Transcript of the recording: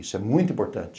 Isso é muito importante.